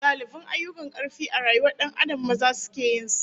Galibin ayyukan karfi a rayuwar Dan Adam, maza suke yin sa